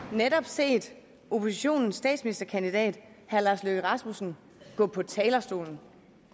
netop set oppositionens statsministerkandidat herre lars løkke rasmussen gå på talerstolen